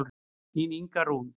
Þín Inga Rún.